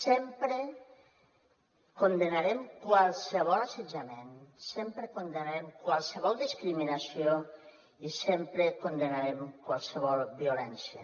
sempre condemnarem qualsevol assetjament sempre condemnarem qualsevol discriminació i sempre condemnarem qualsevol violència